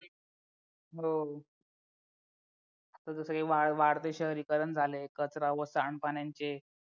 हो जसं हे वाढतं शहरीकरण झालंय कचरा व सांडपाण्यांचे